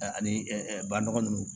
Ani banɔgɔ ninnu